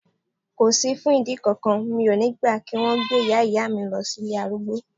Kò sí fún ìdí kankan, mi ò ní gbà kí wón gbé Ìyá Ìyá mi lọ sí ilé arúgbó.